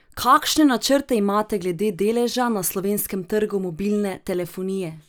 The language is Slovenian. Kakšne načrte imate glede deleža na slovenskem trgu mobilne telefonije?